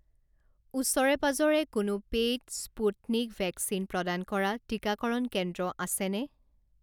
ওচৰে পাঁজৰে কোনো পেইড স্পুটনিক ভেকচিন প্ৰদান কৰা টিকাকৰণ কেন্দ্ৰ আছেনে?